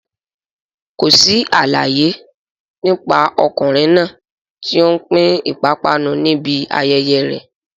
Kò sí àlàyé nípa ọkùnrin náà tí ó ń pín ìpápánu níbi ayẹyẹ rẹ̀.